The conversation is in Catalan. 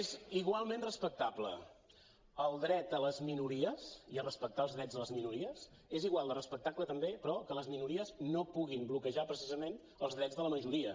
és igualment respectable el dret a les minories i a respectar els drets a les minories és igual de respectable també però que les minories no puguin bloquejar precisament els drets de la majoria